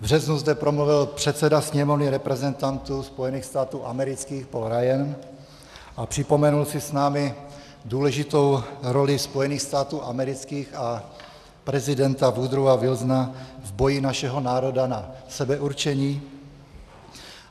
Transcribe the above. V březnu zde promluvil předseda Sněmovny reprezentantů Spojených států amerických Paul Ryan a připomenul si s námi důležitou roli Spojených států amerických a prezidenta Woodrowa Wilsona v boji našeho národa na sebeurčení.